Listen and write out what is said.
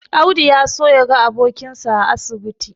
Audi ya so yaga abokinsa a asibiti.